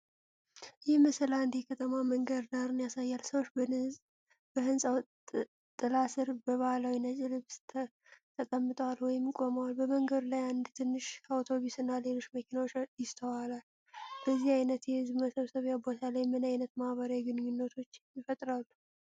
ይህ ምስል አንድ የከተማ መንገድ ዳርን ያሳያል። ሰዎች በህንፃው ጥላ ስር በባህላዊ ነጭ ልብስ ተቀምጠዋል ወይም ቆመዋል። በመንገድ ላይ አንድ ትንሽ አውቶብስ እና ሌሎች መኪኖች ይስተዋላሉ። በዚህ አይነት የሕዝብ መሰብሰቢያ ቦታ ላይ ምን ዓይነት ማኅበራዊ ግንኙነቶች ይፈጠራሉ?